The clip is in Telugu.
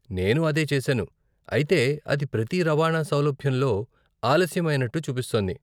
నేను అదే చేసాను, అయితే అది ప్రతి రవాణా సౌలభ్యంలో ఆలస్యం అయినట్టు చూపిస్తోంది.